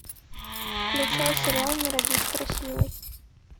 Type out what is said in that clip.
включай сериал не родись красивой